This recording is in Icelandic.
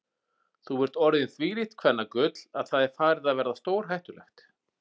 Þú ert orðinn þvílíkt kvennagull að það er farið að verða stórhættulegt.